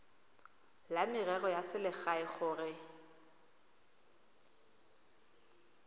la merero ya selegae gore